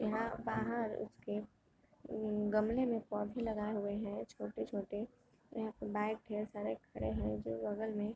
यहाँ बहार उसके म-म गमले में पौधे लगाए हुए हैं छोटे-छोटे और यहाँ पे बाइक ढेर सारे खड़े हैं जो बगल में --